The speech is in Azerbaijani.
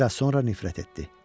Biraz sonra nifrət etdi.